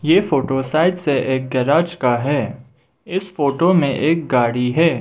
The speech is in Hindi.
ये फोटो साइड से एक गैरेज का है इस फोटो में एक गाड़ी है।